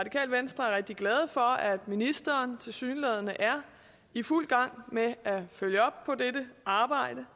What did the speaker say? rigtig glade for at ministeren tilsyneladende er i fuld gang med at følge op på dette arbejde